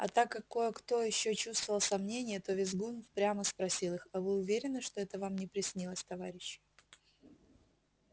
а так как кое-кто ещё чувствовал сомнение то визгун прямо спросил их а вы уверены что это вам не приснилось товарищи